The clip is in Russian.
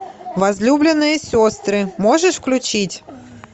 возлюбленные сестры можешь включить